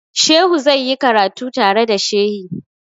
Shehu zai yi karatu tare da shehi.